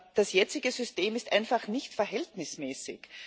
Das jetzige System ist einfach nicht verhältnismäßig.